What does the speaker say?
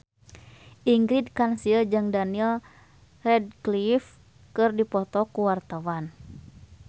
Ingrid Kansil jeung Daniel Radcliffe keur dipoto ku wartawan